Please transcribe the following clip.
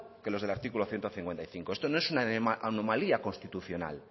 que los del artículo ciento cincuenta y cinco esto no es una anomalía constitucional